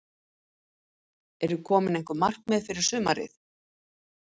Eru komin einhver markmið fyrir sumarið?